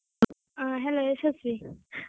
ಆ hello ಯಶಸ್ವಿ.